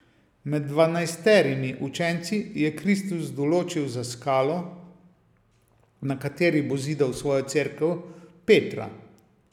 Med dvanajsterimi učenci je Kristus določil za skalo, na kateri bo zidal svojo Cerkev, Petra.